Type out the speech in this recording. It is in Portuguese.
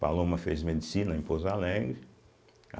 Paloma fez Medicina em Pouso Alegre.